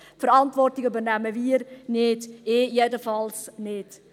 Die Verantwortung übernehmen wir nicht, ich jedenfalls nicht.